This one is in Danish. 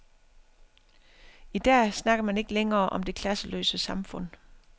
I dag snakker man ikke længere om det klasseløse samfund.